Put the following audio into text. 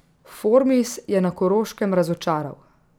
Formis je na Koroškem razočaral.